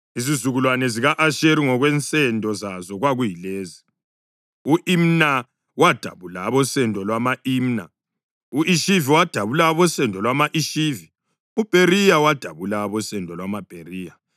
Izizukulwane zika-Asheri ngokwensendo zazo kwakuyilezi: u-Imna wadabula abosendo lwama-Imna; u-Ishivi wadabula abosendo lwama-Ishivi; uBheriya wadabula abosendo lwamaBheriya;